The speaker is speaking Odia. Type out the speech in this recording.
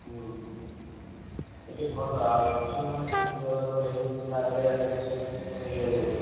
ଓହୋ। ସେଠୀ ଭଲ ଆଉ ଏ~ ଠି~ ମାନେ ସେଠୀ ଯୋଉଭଳିଆ ସବୁ AC ଫେଷି ଲାଗିଗଲାଣି ଏବେ ସବୁ system ହେଇଗଲାଣି ଅଲଗା।